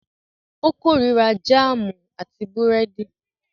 Ó korira jáámù àti búrẹ́dì.